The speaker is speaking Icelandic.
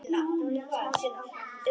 Nú lét skáldið ganga á eftir sér.